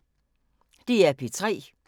DR P3